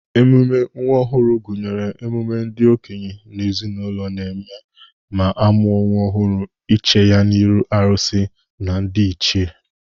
Ememe nwa ọhụrụ gụnyere ememe ndị okenye n'ezenaụlọ na-eme ma amụa nwa ọhụrụ iche ya n'ihu arụsị na ndị ichee.